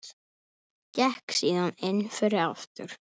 Gekk síðan inn fyrir aftur.